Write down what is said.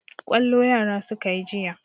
Kwallo yara suka yi jiya.